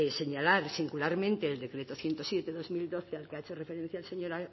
señalar singularmente el decreto ciento siete barra dos mil doce al que ha hecho referencia el señor